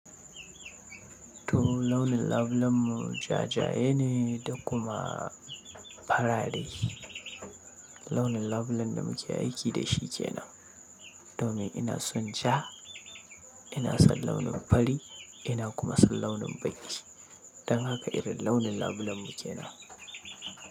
To launin labulenmu ja ja ne da kuma fara rai. Launin labulen da muke aiki da shi ke nan. Domin ina son ja, ina son launin fari, ina kuma son launin baiji. Don haka irin launin labulenmu ke nan.